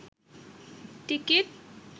ticket